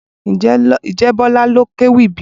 Ǹjẹ́ Bola ló kéwì bíi?